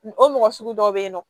O mɔgɔ sugu dɔw bɛ yen nɔ